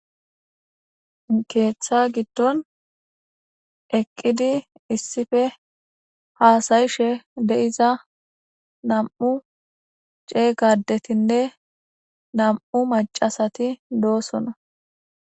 Heeththa giddon eqqidi issife haasayishe deiza nam7u ceey gadetinne nam7u macasati doosona